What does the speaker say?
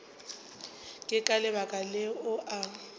ke ka lebaka leo a